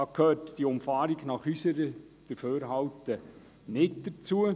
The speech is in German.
Diese Umfahrung gehört unserer Ansicht nach nicht dazu.